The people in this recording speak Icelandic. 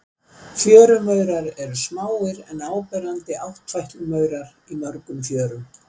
Fjörumaurar eru smáir en áberandi áttfætlumaurar í mörgum fjörum.